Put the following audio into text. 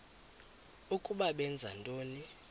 ukuba benza ntoni